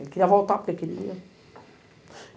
Ele queria voltar porque queria.